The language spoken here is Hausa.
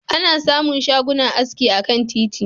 Ana samun shagunan aski akan titi.